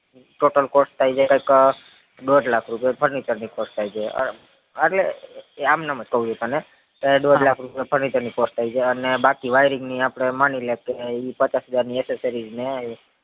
total cost થાય છે કૈક દોઢ લાખ રૂપિયો furniture ની cost થાય છે આટલે આમ નામ જ કૌ છુ તને કે દોઢ લાખ રૂપિયો furniture ની cost થાય છે અને બાકી wiring ની માની કે ઈ પચાસ હજાર ની accesories ને